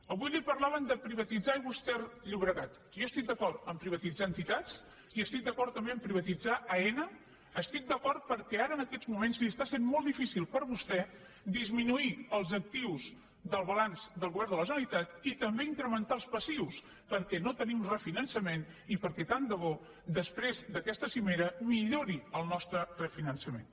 avui li parlaven de privatitzar aigües ter llobregat jo estic d’acord a privatitzar entitats i estic d’acord també a privatitzar aena hi estic d’acord perquè ara en aquests moments li està sent molt difícil per vostè disminuir els actius del balanç del govern de la generalitat i també incrementar els passius perquè no tenim refinançament i perquè tant de bo després d’aquesta cimera millori el nostre refinançament